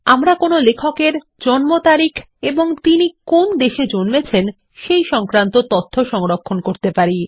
আমরা কোনো লেখক এর জন্মতারিখ এবং তিনি কোন দেশে জন্মেছেন সেই তথ্য সংরক্ষণ করতে পারি